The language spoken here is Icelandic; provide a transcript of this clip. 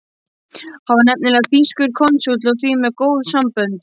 Hann var nefnilega þýskur konsúll og því með góð sambönd.